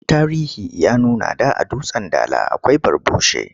Tarihi ya nuna da a Dutsen Dala akwai Barbushe.